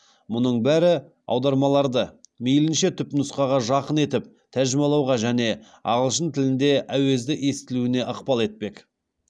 мұның бәрі аудармаларды мейлінше түпнұсқаға жақын етіп тәржімалауға және ағылшын тілінде әуезді естілуіне ықпал етпек